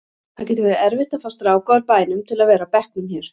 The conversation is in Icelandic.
Það getur verið erfitt að fá stráka úr bænum til að vera á bekknum hér.